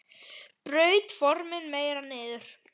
Braut formin meira niður.